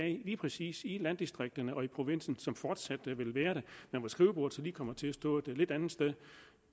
lige præcis i landdistrikterne og i provinsen som fortsat vil være det men hvor skrivebordet lige kommer til at stå lidt andet sted